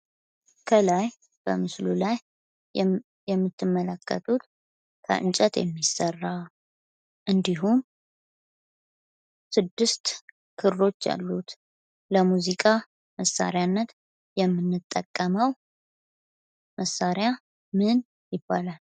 ከለይ በምስሉ ላይ የምትመለከቱት ከእንጨት የሚሰራ እንድሁም ስድስት ክሮች ያሉት ለሙዚቃ መሳሪያነት የምንጠቀመው መሳሪያ ምን ይባላል?